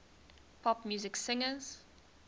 pop music singers